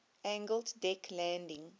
angled deck landing